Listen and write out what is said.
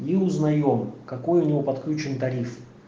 мы узнаем какой у него подключён тариф